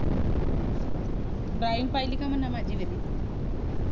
drawing पहिली का मनावं माझी वाली